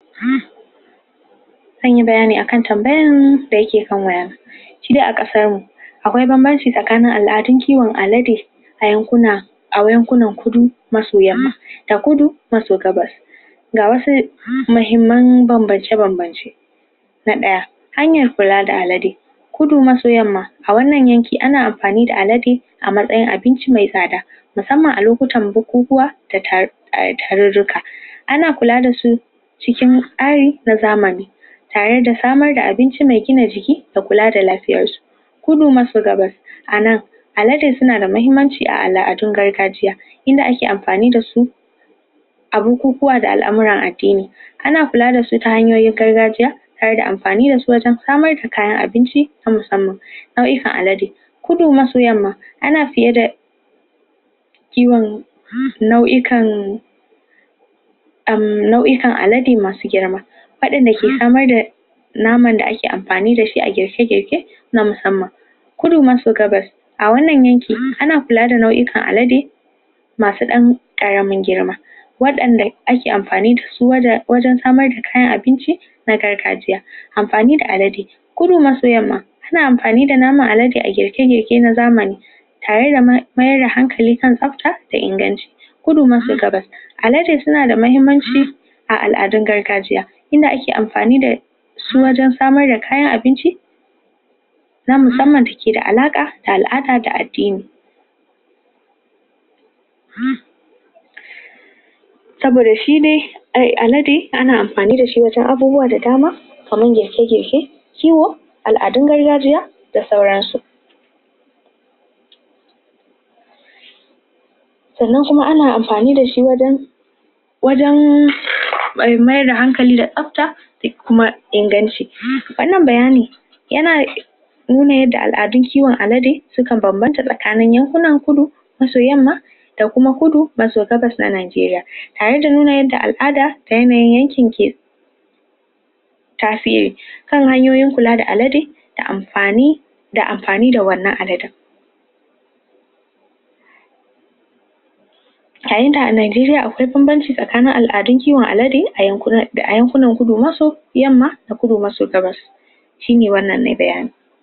Zan yi bayani akan tambayan da yake kan waya na shi de a kasan mu, akwai banbance tsakanin al'adun kiwon alade a yankuna, a yankunan kudu masoya. A kudu, maso gabar ga wasu mahimmar bambance-bambance Na daya, hanyar kula da alade, kudu masa yamma a wannan yanke, ana amfani da alade a matsayin abinci me tsada musamma a lokutan bokukuwa da taruruka. Ana kula da su cikin na zamani tare da samar da abinci me gina jiki da kula da lafiyar su, kudu anan alade suna da mahimmanci a al'adun gargajiya inda ake amfani da su a bukukuwa da al'amaran addini ana kula da su ta hanyoyin gargajiya tare da amfani da su wajen samar da kayan abinci na musamman fa'isan alade. kudu masu yamma ana fiye da kiwon nau'ikan um nau; ikan alade masu girma hadin da ke samar da naman da ake amfani da shi a girke-girke na musamman. kudu maso gabar a wannan yanke, ana kula da nau'ikan alade masu dan karamin girma wadanda ake amfani da su wajen samar da kan abinci na gargajiya Amfani da alade, kudu masayamma suna amfani da naman alade a girke-girke na zamani tare da meyar da hankali kan tsabta da inganci Kudu na Alade suna da mahimmanci a al; adun gargajiya, inda ake amfani da su wajen samar da kayan abinci, na musamman biki da alaka ta zare, shi de alade, ana amfani da shi wajen abubuwa da dama kaman girke-girke, ciwo, al'adun gargajiya, da sauran su. Sannan kuma ana amfani da shi wajen wajen meyar da hankali da tsabta da kuma inganci. Wannan bayani yana nuna yadda al'adun kiwon alade sukan bambanta tsakanin yankunan kudu da kuma kudu maso na Najeriya, tare da nuna yadda al'ada da yanayin yanken ke kan hanyoyin kula da alade da amfani da amfani da wannan aladen a Najeriya, akwai bambance tsakanin al'adun kiwon alade a yankunan kudu. Wasu yamma da kudu maso gabas shi ne wannan bayanin